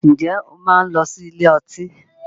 Ǹjẹ́ o máa ń lọ sí ilé ọtí